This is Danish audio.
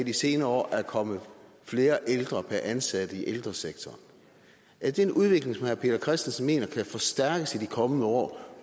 i de senere år er kommet flere ældre per ansat i ældresektoren er det en udvikling som herre peter christensen mener kan forstærkes i de kommende år